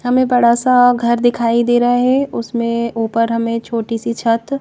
हमें बड़ा सब घर दिखाई दे रहा है उसमें ऊपर हमें एक छोटी सी छत--